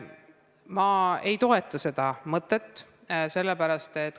Ma ei toeta seda mõtet.